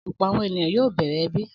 Ọ̀pọ̀ àwọn ènìyàn yóò bẹ̀rẹ̀ ẹbí.